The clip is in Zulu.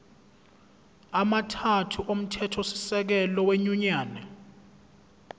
amathathu omthethosisekelo wenyunyane